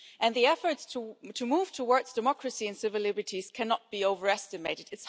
The efforts to move towards democracy and civil liberties cannot be overestimated.